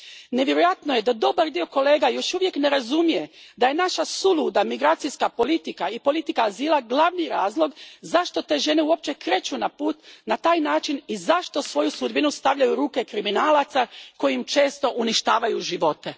Nevjerojatno je da dobar dio kolega još uvijek ne razumije da je naša suluda migracijska politika i politika azila glavni razlog zašto te žene uopće kreću na put na taj način i zašto svoju sudbinu stavljaju u ruke kriminalaca koji im često uništavaju živote.